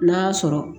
N'a y'a sɔrɔ